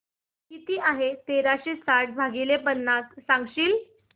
किती आहे तेराशे साठ भाग पन्नास सांगशील